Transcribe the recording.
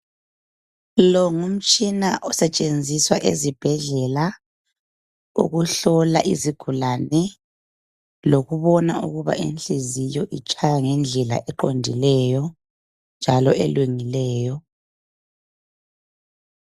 Lo ngumtshina osetshenziswa ezibhedlela ukuhlola izigulane lokubona ukuba inhliziyo itshaya ngendlela eqondileyo njalo elungileyo.